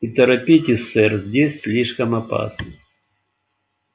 и торопитесь сэр здесь слишком опасно